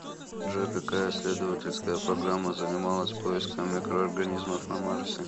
джой какая исследовательская программа занималась поиском микроорганизмов на марсе